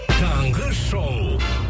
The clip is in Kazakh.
таңғы шоу